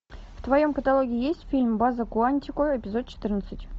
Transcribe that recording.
в твоем каталоге есть фильм база куантико эпизод четырнадцать